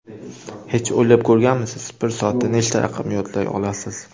Hech o‘ylab ko‘rganmisiz, bir soatda nechta raqam yodlay olasiz?